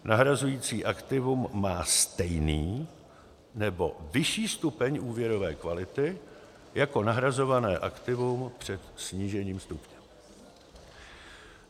nahrazující aktivum má stejný nebo vyšší stupeň úvěrové kvality jako nahrazované aktivum před snížením stupně.